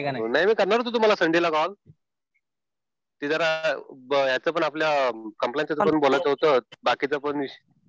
नाही मी करणार होतो तुम्हाला संडेला कॉल. ते जरा याच पण कम्प्लायन्सेसचं पण बोलायचं होतं. बाकीच्या गोष्टी.